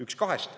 Üks kahest.